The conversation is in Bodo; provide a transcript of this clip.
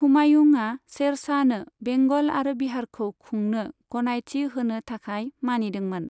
हुमायुंआ शेरशाहनो बेंगल आरो बिहारखौ खुंनो गनायथि होनो थाखाय मानिदोंमोन।